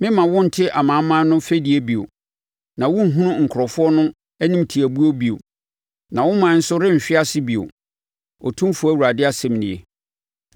Meremma wo nte amanaman no fɛdie bio, na worenhunu nkurɔfoɔ no animtiabuo bio, na wo ɔman nso renhwe ase bio, Otumfoɔ Awurade asɛm nie.’ ”